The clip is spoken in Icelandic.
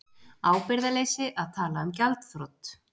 Ábyrgðarleysi að tala um gjaldþrot